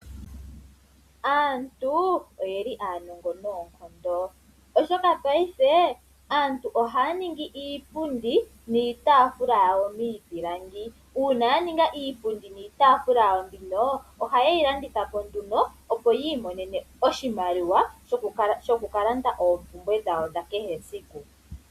Aantu oyeli aanongo noonkondo oshoka aantu Paife ohaya ningi iipundi niitaafula miipilangi, uuna ya ninga iipundi niitaafula yawo mbino ohaye yi landitha po nduno opo yi imonene oshimaliwa shoku landa oompumbwe dhawo dha kehe siku.